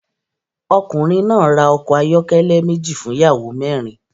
Ọkùnrin náà ra ọkọ̀ ayọ́kẹ́lẹ́ méjì fún ìyàwó mẹ́rin